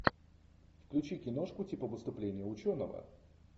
включи киношку типа выступление ученого